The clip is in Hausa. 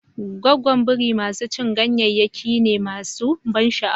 Goggo Biri masu cin ganyayyaki ne masu ban sha'awa.